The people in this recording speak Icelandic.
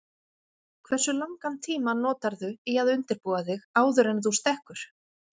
Hversu langan tíma notarðu í að undirbúa þig áður en þú stekkur?